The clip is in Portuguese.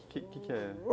O que que é?